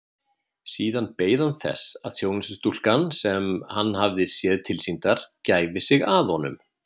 Síðan beið hann þess að þjónustustúlkan sem hann hafði séð tilsýndar gæfi sig að honum.